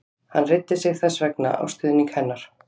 Hann reiddi sig þess vegna á stuðning hennar.